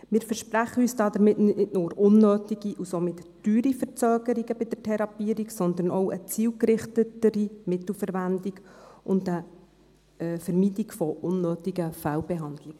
Wir versprechen uns damit nicht nur keine unnötigen und somit teuren Verzögerungen bei der Therapierung, sondern auch eine zielgerichtetere Mittelverwendung und eine Vermeidung von unnötigen Fehlbehandlungen.